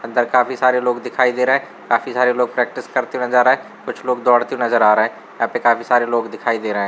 अंदर काफी सारे लोग दिखाई दे रहे है। काफी सारे लोग प्रैक्टिस करते नजर आए कुछ लोग दोड़ते नजर आ रहे है। यहां पे काफी सारे लोग दिखाई दे रहे हैं।